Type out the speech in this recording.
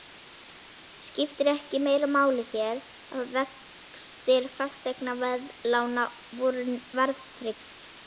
Skipti ekki meira máli hér, að vextir fasteignaveðlána voru verðtryggðir?